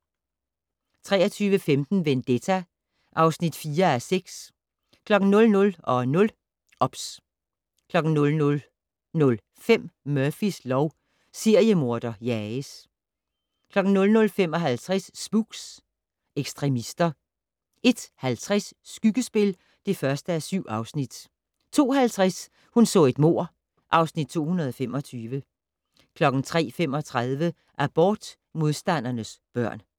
23:15: Vendetta (4:6) 00:00: OBS 00:05: Murphys lov: Seriemorder jages 00:55: Spooks: Ekstremister 01:50: Skyggespil (1:7) 02:50: Hun så et mord (Afs. 225) 03:35: Abortmodstandernes børn